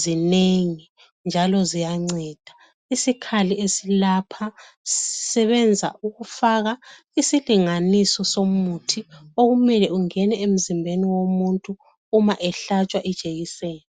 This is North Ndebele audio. zinengi njalo ziyanceda, isikhali esilapha sisebenza ukufaka isilinganiso somuthi okumele ungene emzimbeni womuntu uma ehlatshwe ijekiseni.